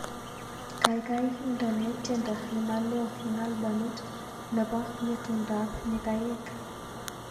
Gaigai indene tyendo nemaloo eng albamit nebo ngetundab nyikaik